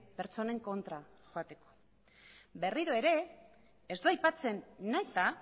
pertsonen kontra joateko berriro ere ez du aipatzen nahita